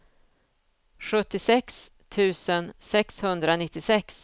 sjuttiosex tusen sexhundranittiosex